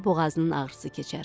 boğazının ağrısı keçər.